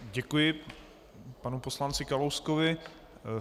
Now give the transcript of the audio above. Děkuji panu poslanci Kalouskovi.